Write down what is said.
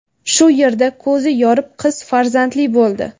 shu yerda ko‘zi yorib, qiz farzandli bo‘ldi.